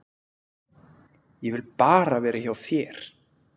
Ég vil bara vera hjá þér.